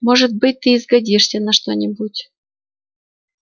может быть ты и сгодишься на что-нибудь